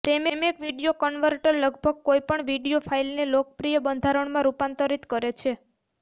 Freemake video converter લગભગ કોઈપણ video ફાઇલને લોકપ્રિય બંધારણોમાં રૂપાંતરિત કરે છે